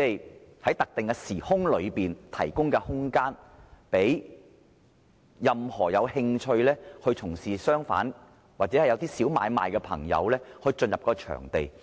是在特定時空內提供空間，讓任何有興趣從事商販或一些小買賣的朋友進入場地經營。